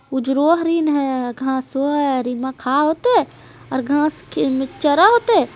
उजरो हरिण हेय घासो हेय हरिना खाय हेतो आर घास मे चरे होते।